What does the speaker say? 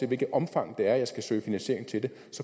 hvilket omfang jeg skal søge finansiering til det